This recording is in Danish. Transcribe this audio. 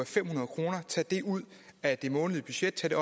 fem hundrede kroner ud af det månedlige budget tage